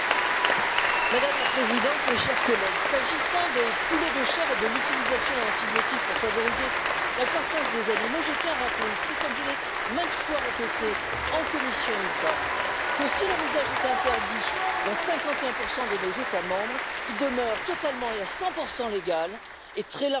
Madame la Présidente, mes chers collègues, s'agissant des poulets de chair et de l'utilisation d'antibiotiques pour favoriser la croissance des animaux, je tiens à rappeler ici, comme je l'ai maintes fois répété en commission INTA, que si leur usage est interdit dans 51 de nos États membres, il demeure totalement et à 100 légal et très largement répandu